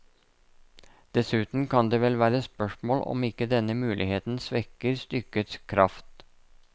Dessuten kan det vel være spørsmål om ikke denne muligheten svekker stykkets kraft.